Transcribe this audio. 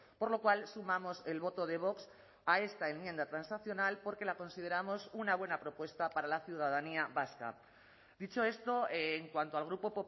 por lo cual sumamos el voto de vox a esta enmienda transaccional porque la consideramos una buena propuesta para la ciudadanía vasca dicho esto en cuanto al grupo